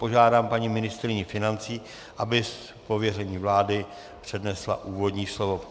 Požádám paní ministryni financí, aby z pověření vlády přednesla úvodní slovo.